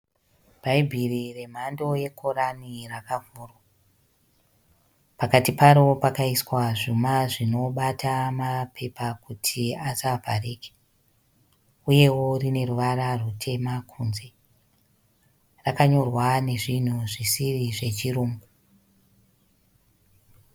Bhaibheri remhando ye Korani rakavhurwa. Pakati paro pakaiswa zvuma zvinobata mapepa kutiasavharike. Uyewo rine ruvara rutema kunze. Rakanyorwa nezvinhu zvisiri zvechirungu.